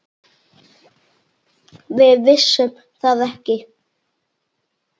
Við vissum það ekki.